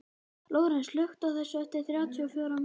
Lórens, slökktu á þessu eftir þrjátíu og fjórar mínútur.